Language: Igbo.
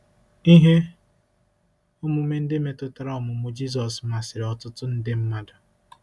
Ihe omume ndị metụtara ọmụmụ Jizọs masịrị ọtụtụ nde mmadụ.